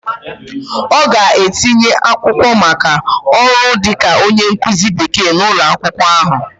Ọ ga-etinye akwụkwọ maka ọrụ dịka onye nkụzi Bekee n'ụlọ akwụkwọ ahụ